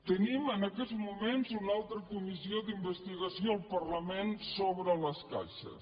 tenim en aquests moments una altra comissió d’investigació al parlament sobre les caixes